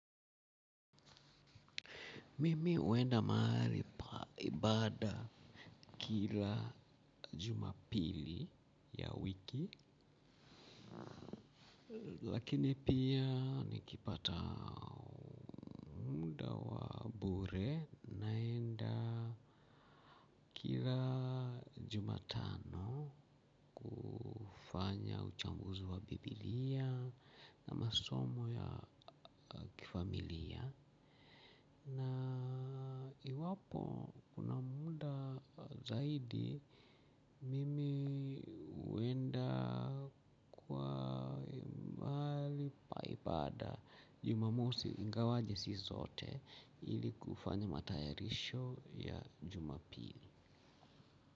Mimi huenda mahali paibada kila jumapili ya wiki. Lakini pia nikipata munda wa bure naenda kila jumatano kufanya uchambuzi wa biblia. Na masomo ya kifamilia. Na iwapo kuna muda zaidi mimi uenda kwa maali paibada jumamosi ingawaje si zote ili kufani matayarisho ya jumapili.